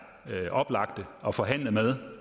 oplagt at forhandle med